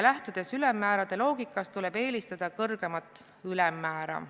Lähtudes ülemmäärade loogikast, tuleb eelistada kõrgemat ülemmäära.